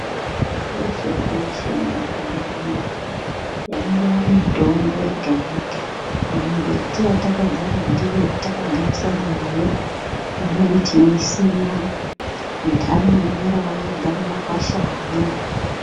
Kweshe kweshe kumakanyi uno yangowa mutombo yega yega mimbiti yatakazara ndiyo yatakagarisana nayo imweni tinoisima intani inomerawo yega mumakwashamwo